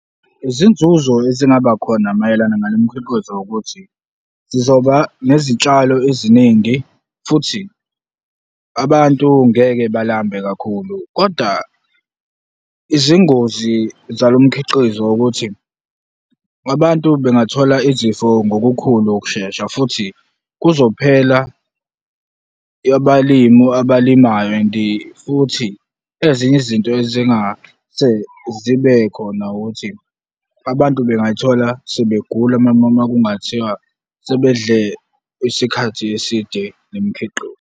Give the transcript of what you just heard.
Izinzuzo ezingaba khona mayelana nalemikhiqizo ukuthi, zizoba nezitshalo eziningi futhi abantu ngeke balambe kakhulu kodwa izingozi zalomkhiqizo ukuthi abantu bengathola izifo ngokukhulu ukushesha futhi kuzophela abalimu abalimayo and-i futhi ezinye izinto ezingase zibe khona ukuthi abantu bengathola sebegula uma kungathiwa sebedle isikhathi eside nemikhiqizo.